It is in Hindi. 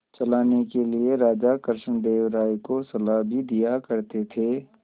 चलाने के लिए राजा कृष्णदेव राय को सलाह भी दिया करते थे